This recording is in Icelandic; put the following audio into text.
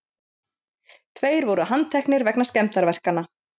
Tveir voru handteknir vegna skemmdarverkanna